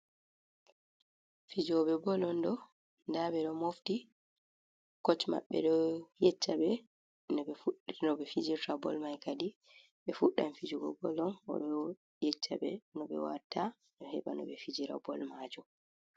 Fijoobe boll onɗo. Nda be ɗo mofti coch mabbe ɗo yecca be nobe fijirta boll mai kadi. Be fuɗdan fijugo boll on. Oɗoo yeccabe no be watta ɗo heba no be fijira boll majom.